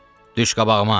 Düş qabağıma!